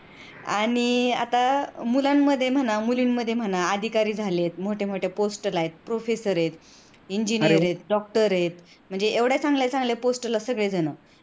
आणि आता मुलांमध्ये म्हणा, मुलींमध्ये म्हणा, अधिकारी झालेत, मोठमोठ्या post ला आहेत, professor आहेत, engineer आहेत, doctor आहेत म्हणजे एवढ्या चांगल्या चांगल्या post ला सगळेजण